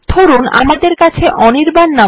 ধরুন আমাদের কাছে অনির্বাণ